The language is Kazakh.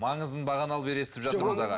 маңызын бағаналы бері естіп жатырмыз аға